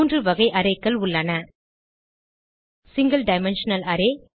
மூன்று வகை arrayகள் உள்ளன சிங்கில் டைமென்ஷனல் அரே